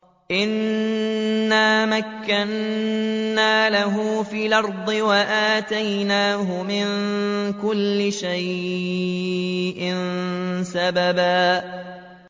إِنَّا مَكَّنَّا لَهُ فِي الْأَرْضِ وَآتَيْنَاهُ مِن كُلِّ شَيْءٍ سَبَبًا